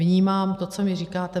Vnímám to, co mi říkáte.